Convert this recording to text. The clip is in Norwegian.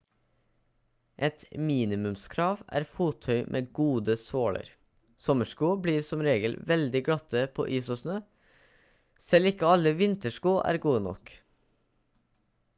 et minimumskrav er fottøy med gode såler sommersko blir som regel veldig glatte på is og snø selv ikke alle vintersko er gode nok